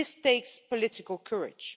This takes political courage.